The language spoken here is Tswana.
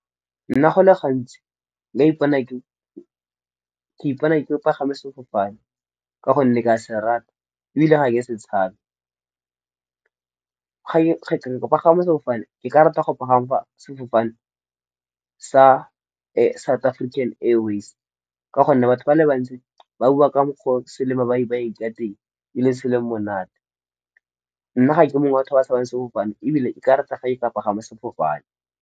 Nna go le gantsi ke ipona ke pagama sefofane, ka gonne ke a se rata ebile ga ke setshabe. Go pagama sefofane ke ka rata go pagama sefofane sa South African Airways. Ka gonne batho ba le bantsi ba bua ka mokgwa o se le ba e ka teng e le se le monate. Nna ga ke mongwe wa batho ba tshabang sefofane ebile nka rata ga e pagama sefofane.